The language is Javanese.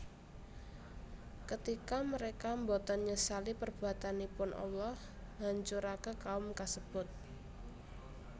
Ketika mereka boten nyesali perbuatanipun Allah nghancuraken kaum kasebut